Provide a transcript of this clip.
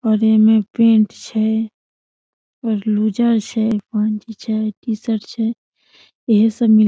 और एमे पैंट छै और लूज़र छै गंजी छै टी-शर्ट छै एहे सब मिलय --